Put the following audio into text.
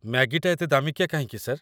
ମ୍ୟାଗିଟା ଏତେ ଦାମିକିଆ କାହିଁକି, ସାର୍?